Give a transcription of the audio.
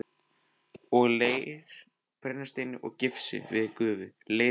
og leir, brennisteini og gifsi við gufu- og leirhveri.